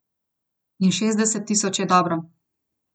In šestdeset tisoč je dobro.